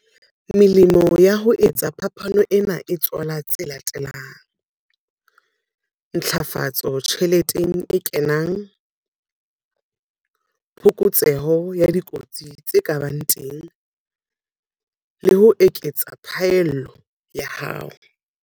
Melemo ya ho etsa phapano ena e tswala tse latelang - ntlafatso tjheleteng e kenang, phokotseho ya dikotsi tse ka bang teng, le ho eketsa phaello ya hao.